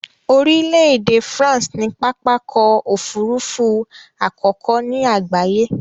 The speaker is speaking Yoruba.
Orílẹ̀ èdè France ni pápákọ̀ òfurufú àkọ́kọ́ ni àgbáyé